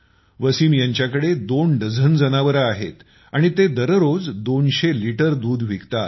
वसीम यांच्याकडे दोन डझन जनावरे आहेत आणि ते दररोज दोनशे लिटर दूध विकतात